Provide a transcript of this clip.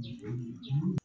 Jamu jamu